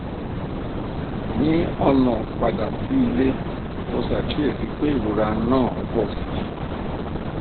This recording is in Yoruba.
ní ọnà padà sí ilé mo ṣàkíyèsí pé ìrora náà ń pọ sí i